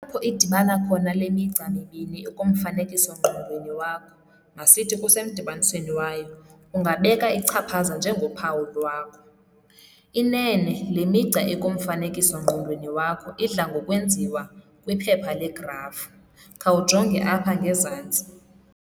Apho idibana khona le migca mibini ikumfanekiso-ngqondweni wakho, masithi kusemdibanisweni wayo, ungabeka ichaphaza njengophawu lwakho. Inene, le migca ikumfanekiso-ngqondweni wakho, idla ngokwenziwa kwiphepha legraf, khawujonge apha ngezantsi.